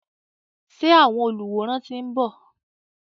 Ṣé àwọn olùwòran ti ń bọ̀?